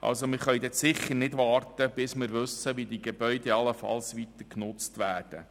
Wir können also sicher nicht warten, bis wir wissen, wie die Gebäude allenfalls weiter genutzt werden.